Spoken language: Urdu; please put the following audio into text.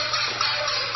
سونگ